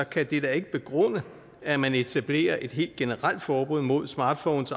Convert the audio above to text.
kan det da ikke begrunde at man etablerer et helt generelt forbud mod smartphones